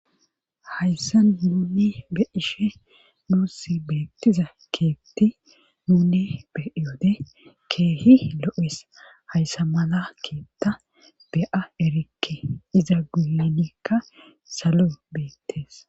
hayssa nunni be ishe nuussi beettiza keetti nune beiyode keehi lo7es hayssa mala keetta be7a erikke iza guilenikka salo beettes